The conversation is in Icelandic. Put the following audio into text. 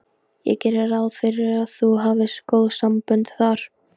Ég geri ráð fyrir að þú hafir góð sambönd þar?